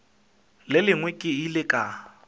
le lengwe ke ile ka